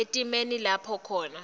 etimeni lapho khona